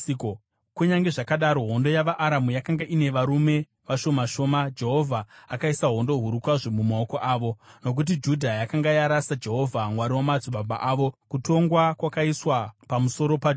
Kunyange zvazvo hondo yavaAramu yakanga ine varume vashoma shoma, Jehovha akaisa hondo huru kwazvo mumaoko avo. Nokuti Judha yakanga yarasa Jehovha, Mwari wamadzibaba avo, kutongwa kwakaiswa pamusoro paJoashi.